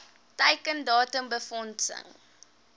teiken datum befondsing